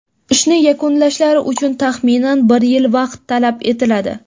Ishni yakunlashlari uchun taxminan bir yil vaqt talab etiladi.